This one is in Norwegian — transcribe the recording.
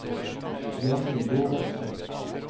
Jonny Lorentzen